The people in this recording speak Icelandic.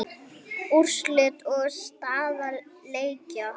Úrslit og staða leikja